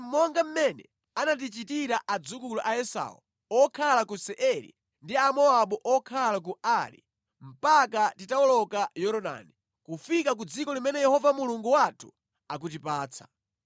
monga mmene anatichitira adzukulu a Esau okhala ku Seiri ndi Amowabu okhala ku Ari mpaka titawoloka Yorodani kufika ku dziko limene Yehova Mulungu wathu akutipatsa.”